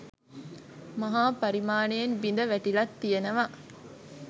මහා පරිමාණයෙන් බිඳ වැටිලත් තියෙනවා.